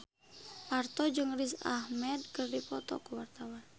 Parto jeung Riz Ahmed keur dipoto ku wartawan